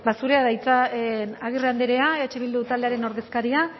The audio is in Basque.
zurea da hitza agirre andrea eh bildu taldearen ordezkaria